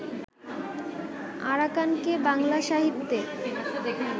আরাকানকে বাংলা সাহিত্যে